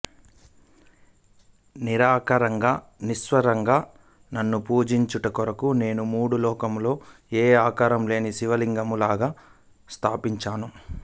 నిరాకారంగా నిస్సంగంగా నన్ను పూజించుట కొరకు నేను మూడు లోకములలో ఏ ఆకారము లేని శివలింగాలను స్థాపించాను